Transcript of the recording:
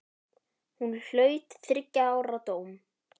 Hún hlaut þriggja ára dóm.